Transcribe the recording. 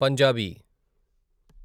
Punjabi